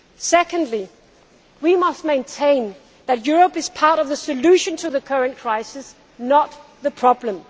of us. Secondly, we must maintain that Europe is part of the solution to the current crisis, not the